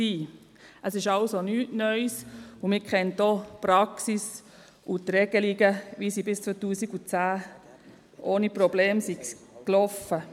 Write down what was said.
Dies ist also nicht neu, und man kennt die Praxis sowie die Regelungen, wie sie bis 2010 ohne Probleme galten.